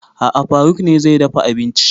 A'a faruk ne zai dafa abinci